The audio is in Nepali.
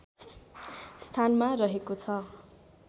स्थानमा रहेको छ